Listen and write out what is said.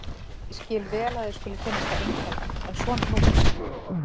Ég skil vel að þér skuli finnast það einkennilegt en svona er nútíminn.